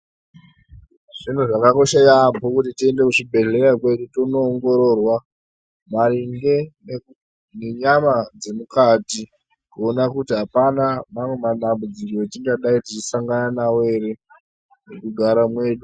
Zvinhu zvakakosha yaambo kuti tiende kuzvibhedhleya kwedu tinoongororwa maringe nenyama dzemukati. Kuona kuti hapana mamwe madambudziko etingadai tichisangana nawo here mukugara mwedu.